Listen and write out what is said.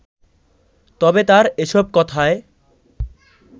তবে তার এসব কথায়